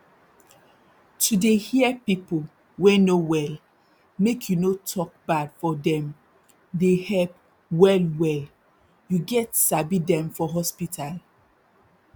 to dey hear pipu wey no well make you no tok bad for dem dey help well well you get sabi dem for hospital